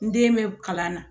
N den bɛ kalan na